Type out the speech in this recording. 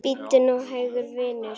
Bíddu nú hægur, vinur.